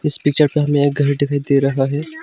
इस पिक्चर पे हमे एक घर दिखाई दे रहा है।